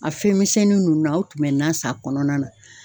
A fɛnmisɛnnin ninnu na , aw tun bɛ na san a kɔnɔna na.